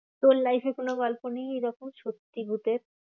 তোর life এ কোনো গল্প নেই এইরকম সত্যি ভুতের?